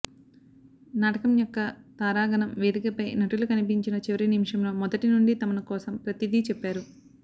నాటకం యొక్క తారాగణం వేదికపై నటులు కనిపించిన చివరి నిమిషంలో మొదటి నుండి తమను కోసం ప్రతిదీ చెప్పారు